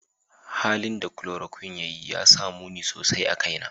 Halin da chloroquine ya yi ya sa muni sosai a kaina.